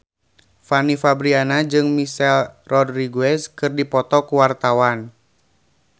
Fanny Fabriana jeung Michelle Rodriguez keur dipoto ku wartawan